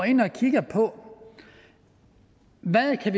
ind og kiggede på hvad vi kan